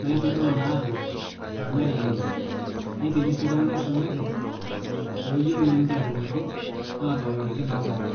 naitodolu naa ajo neng'ae ene. Neitaini sii ltung'ana oisomate, looyuolo naa ninche atudung' nkop, atororoki naa ltung'ana.